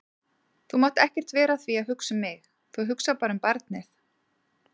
Þú mátt ekkert vera að því að hugsa um mig, þú hugsar bara um barnið.